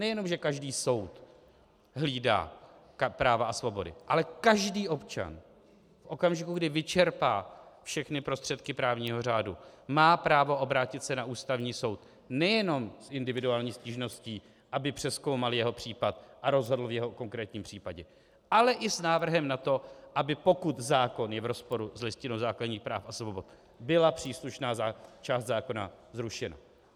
Nejenom že každý soud hlídá práva a svobody, ale každý občan v okamžiku, kdy vyčerpá všechny prostředky právního řádu, má právo obrátit se na Ústavní soud nejenom s individuální stížností, aby přezkoumal jeho případ a rozhodl v jeho konkrétním případě, ale i s návrhem na to, aby pokud zákon je v rozporu s Listinou základních práv a svobod, byla příslušná část zákona zrušena.